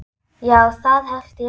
Já, það held ég líka.